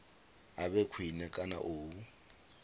a vhe khwine kana u